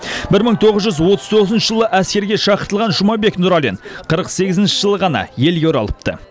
бір мың тоғыз жүз отыз тоғызыншы жылы әскерге шақыртылған жұмабек нұралин қырық сегізінші жылы ғана елге оралыпты